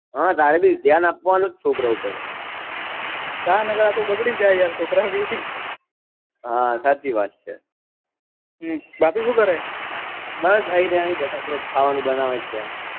હા તારે ભી ધ્યાન આપવાનું છોકરા ઓ પર હા નકર આ તો બગડી જાય છોકરા ભી હા સાચી વાત છે હમ ભાભી શું કરે બસ આ રહ્યા અહી જ બેઠા છે ખાવાનું બનાવે છે